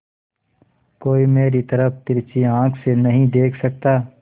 कोई मेरी तरफ तिरछी आँख से नहीं देख सकता